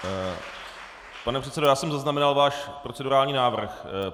Pane předsedo, já jsem zaznamenal váš procedurální návrh.